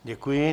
Děkuji.